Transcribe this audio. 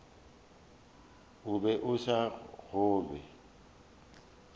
o be a sa kgolwe